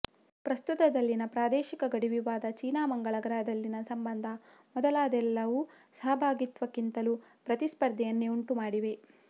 ಪ್ರಸ್ತುತದಲ್ಲಿನ ಪ್ರಾದೇಶಿಕ ಗಡಿ ವಿವಾದ ಚೀನಾ ಮಂಗಳ ಗ್ರಹದಲ್ಲಿನ ಸಂಬಂಧ ಮೊದಲಾದವೆಲ್ಲವೂ ಸಹಭಾಗಿತ್ವಕ್ಕಿಂತಲೂ ಪ್ರತಿಸ್ಪರ್ಧೆಯನ್ನೆ ಉಂಟುಮಾಡಿವೆ